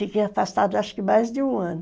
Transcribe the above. Fiquei afastada acho que mais de um ano.